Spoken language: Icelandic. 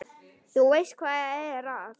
Þú veist, hvað er það?